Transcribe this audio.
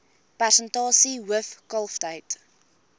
persentasie hoof kalftyd